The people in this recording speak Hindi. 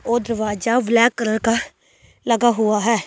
ओ दरवाजा ब्लैक कलर का लगा हुआ है।